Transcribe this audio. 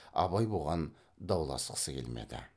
абай бұған дауласқысы келмеді